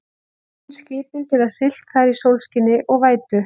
mun skipin geta siglt þar í sólskini og vætu